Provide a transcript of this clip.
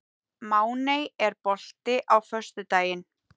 Máney, er bolti á föstudaginn?